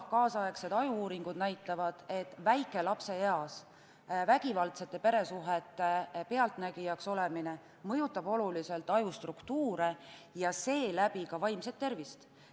Tänapäeva aju-uuringud näitavad, et väikelapseeas vägivaldsete peresuhete pealtnägijaks olemine mõjutab oluliselt aju struktuuri ja seeläbi ka vaimset tervist.